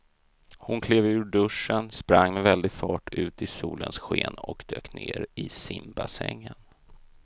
Hon klev ur duschen, sprang med väldig fart ut i solens sken och dök ner i simbassängen.